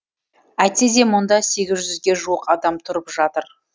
әйтсе де мұнда сегіз жүзге жуық адам тұрып жатыр